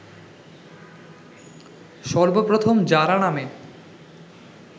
সর্বপ্রথম জারা নামে